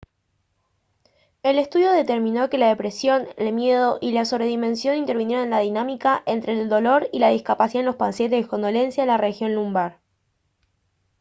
el estudio determinó que la depresión el miedo y la sobredimensión intervinieron en la dinámica entre el dolor y la discapacidad en los pacientes con dolencias en la región lumbar